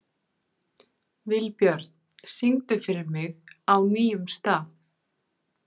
Vilbjörn, syngdu fyrir mig „Á nýjum stað“.